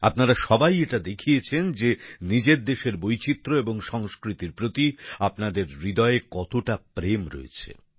আপনারা সবাই এটা দেখিয়েছেন যে নিজের দেশের বৈচিত্র্য এবং সংস্কৃতির প্রতি আপনাদের হৃদয় কতটা প্রেম রয়েছে